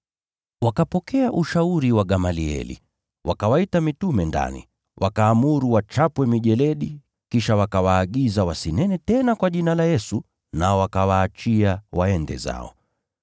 Wakapokea ushauri wa Gamalieli. Wakawaita mitume ndani, wakaamuru wachapwe mijeledi, kisha wakawaagiza wasinene tena kwa jina la Yesu, wakawaachia waende zao.